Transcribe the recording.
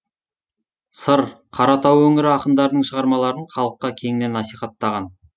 сыр қаратау өңірі ақындарының шығармаларын халыққа кеңінен насихаттаған